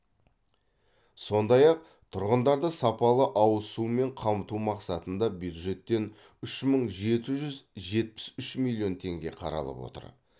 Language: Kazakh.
сондай ақ тұрғындарды сапалы ауыз сумен қамту мақсатында бюджеттен үш мың жеті жүз жетпіс үш миллион теңге қаралып отыр